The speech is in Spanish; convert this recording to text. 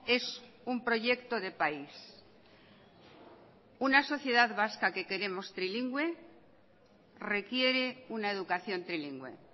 es un proyecto de país una sociedad vasca que queremos trilingüe requiere una educación trilingüe